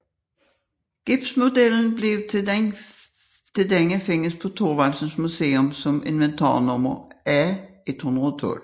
Gipsmodellen til denne findes på Thorvaldsens Museum som inventarnummer A112